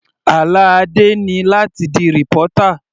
Àlá Adé ni láti di reporter.